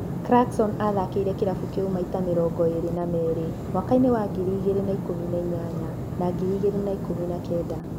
Clarkson athakĩire kĩrabu kĩu maita mĩrongo ĩrĩ na merĩ mwaka-inĩ wa ngiri igĩrĩ na ikũmi na inyanya na ngiri igĩrĩ na ikũmi na kenda.